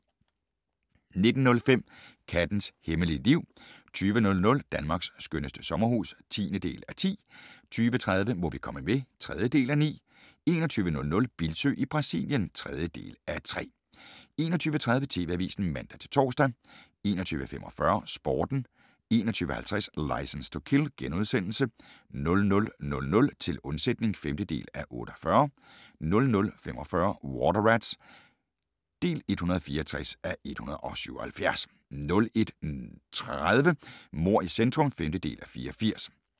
19:05: Kattens hemmelige liv 20:00: Danmarks skønneste sommerhus (10:10) 20:30: Må vi komme med? (3:9) 21:00: Bildsøe i Brasilien (3:3) 21:30: TV-avisen (man-tor) 21:45: Sporten 21:50: Licence to Kill * 00:00: Til undsætning (5:48) 00:45: Water Rats (164:177) 01:30: Mord i centrum (5:84)